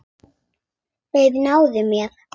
Þeir náðu mér.